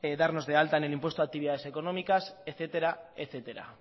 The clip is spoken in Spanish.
darnos de alta en el impuesto de actividades económicas etcétera etcétera